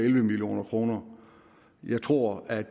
elleve million kroner jeg tror at